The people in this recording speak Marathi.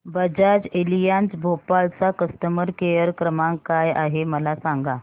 बजाज एलियांज भोपाळ चा कस्टमर केअर क्रमांक काय आहे मला सांगा